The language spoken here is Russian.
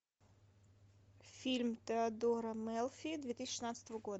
фильм теодора мелфи две тысячи шестнадцатого года